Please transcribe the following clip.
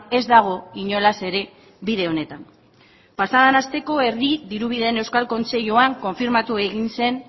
ez dago inolaz ere bide honetan pasaden asteko herri dirubideen euskal kontseiluan konfirmatu egin zen